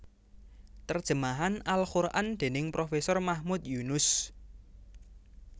Terjemah al Quran dening Profesor Mahmud Yunus